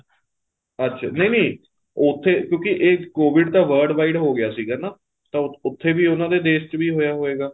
ਅੱਛਾ ਨਹੀਂ ਨਹੀਂ ਕਿਉਂਕਿ ਉੱਥੇ ਏ COVID ਤਾਂ world wide ਹੋ ਗਿਆ ਸੀਗਾ ਨਾ ਉਥੇ ਵੀ ਉਹਨਾ ਦੇ ਦੇਸ਼ ਵਿੱਚ ਹੋਇਆ ਹੋਏਗਾ